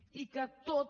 i que tot